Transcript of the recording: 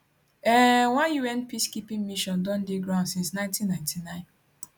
um one un peacekeeping mission don dey ground since 1999